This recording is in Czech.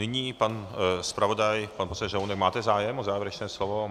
Nyní pan zpravodaj, pan poslanec Řehounek - máte zájem o závěrečné slovo?